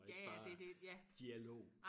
ja ja det er det ja